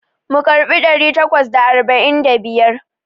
Mu karɓi ɗari takwas da arba'in da biyar.